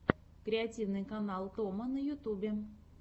креативный канал томо на ютубе